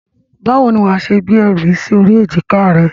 Báwo ni wàá ṣe gbé ẹrù yìí sí orí èjìká rẹ?